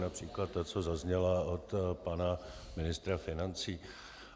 Například ta, co zazněla od pana ministra financí.